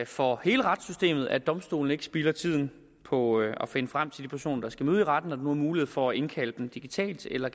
for hele retssystemet at domstolene ikke spilder tiden på at finde frem til de personer der skal møde i retten når der nu er mulighed for at indkalde dem digitalt eller